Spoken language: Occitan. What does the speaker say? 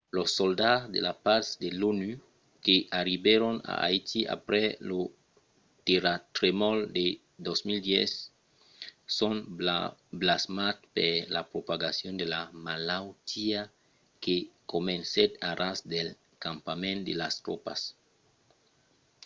los soldats de la patz de l’onu que arribèron a haiti aprèp lo terratremol de 2010 son blasmats per la propagacion de la malautiá que comencèt a ras del campament de las tropas